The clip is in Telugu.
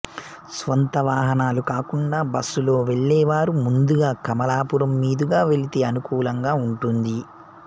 స్వంత వాహనాలు కాకుండా బస్సులో వెళ్ళేవారు ముందుగా కమాలాపురం మీదుగా వెళ్లితే అనుకూలంగా ఉంటుంది